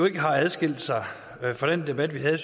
ikke har adskilt sig fra den debat vi havde